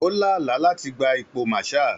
Ó lá àlá láti gba ipò Marshal.